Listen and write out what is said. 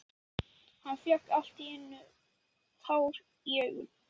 Hann fékk allt í einu tár í augun.